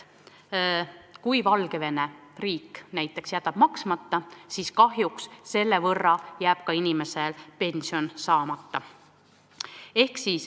Kui Valgevene riik jätab raha maksmata, siis kahjuks jääb inimesel Valgevene pension saamata.